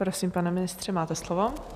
Prosím, pane ministře, máte slovo.